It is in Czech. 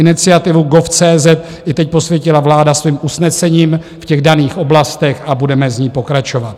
Iniciativu gov.cz i teď posvětila vláda svým usnesením v těch daných oblastech a budeme v ní pokračovat.